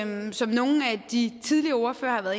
men som nogle af de tidligere ordførere har